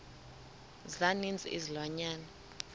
za ninzi izilwanyana